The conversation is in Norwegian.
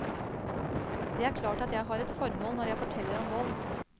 Det er klart at jeg har et formål når jeg forteller om vold.